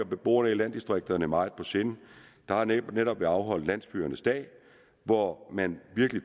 beboerne i landdistrikterne meget på sinde der har netop været afholdt landsbyernes dag hvor man virkelig